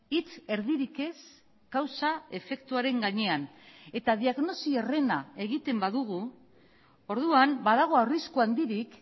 hitz erdirik ez kausa efektuaren gainean eta diagnosi herrena egiten badugu orduan badago arrisku handirik